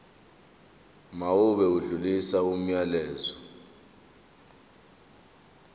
mawube odlulisa umyalezo